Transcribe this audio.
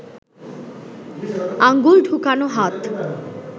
আঙুল ঢুকোনো হাত